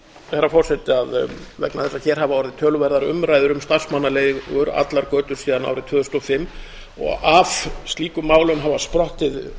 herra forseti að vegna þess að hér hafa orðið töluverðar umræður um starfsmannaleigur allar götur síðan árið tvö þúsund og fimm og af slíkum málum hafa sprottið